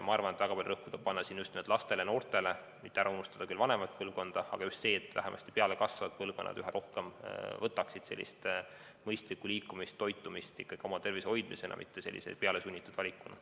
Ma arvan, et väga palju rõhku tuleb panna just nimelt lastele ja noortele, mitte ära unustada küll vanemat põlvkonda, aga oluline on see, et vähemasti pealekasvavad põlvkonnad üha rohkem võtaksid sellist mõistlikku liikumist ja toitumist ikkagi oma tervise hoidmisena, mitte pealesunnitud valikuna.